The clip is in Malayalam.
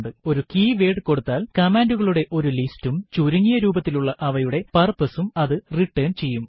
ഒരു കീവേർഡ് കൊടുത്താൽ കമാൻഡുകളുടെ ഒരു ലിസ്റ്റ് ഉം ചുരുങ്ങിയ രൂപത്തിലുള്ള അവയുടെ purpose ഉം അത് റിട്ടർൻ ചെയ്യും